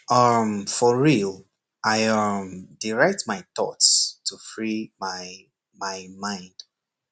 um for real i um dey write my thoughts to free my my mind